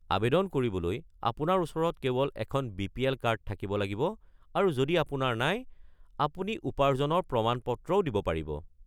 আৱেদন কৰিবলৈ আপোনাৰ ওচৰত কেৱল এখন বি.পি.এল. কাৰ্ড থাকিব লাগিব আৰু যদি আপোনাৰ নাই, আপুনি উপাৰ্জনৰ প্ৰমাণপত্ৰও দিব পাৰিব।